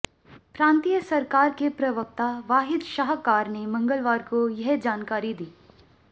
प्रांतीय सरकार के प्रवक्ता वाहिद शाहकार ने मंगलवार को यह जानकारी दी